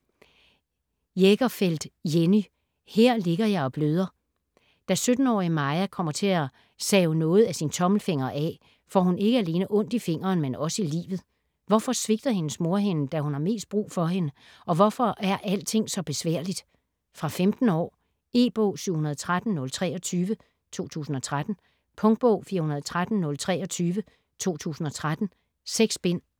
Jägerfeld, Jenny: Her ligger jeg og bløder Da 17-årige Maja kommer til at save noget af sin tommelfinger af, får hun ikke alene ondt i fingeren, men også i livet. Hvorfor svigter hendes mor hende, da hun har mest brug for hende, og hvorfor er alting så besværligt? Fra 15 år. E-bog 713023 2013. Punktbog 413023 2013. 6 bind.